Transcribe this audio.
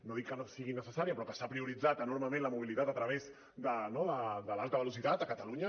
no dic que no sigui necessària però que s’ha prioritzat enormement la mobilitat a través de l’alta velocitat a catalunya